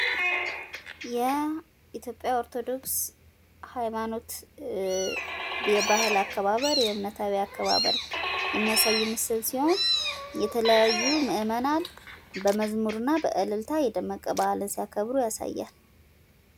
የኢትዮጵያ ኦርቶዶክስ ሃይማኖት የባህል አከባበር እምነታዊ አከባበር የሚያሳይ ምስል ሲሆን የተለያዩ ምዕመናን በመዝሙር እና በእልልታ የደመቀ ባህልን ሲያከብሩ ያሳያል።